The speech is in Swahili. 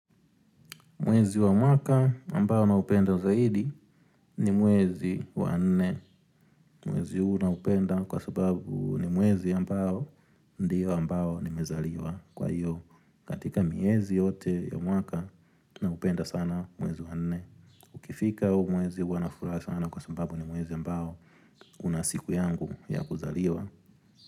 Mwezi wa mwaka ambao na upenda zaidi ni mwezi wa nne. Mwezi huu na upenda kwa sababu ni mwezi ambao ndio ambao ni mezaliwa kwa hiyo. Katika miezi yote ya mwaka na upenda sana mwezi wa nne. Ukifika huu mwezi huwa na furaha sana kwa sababu ni mwezi ambao unasiku yangu ya kuzaliwa.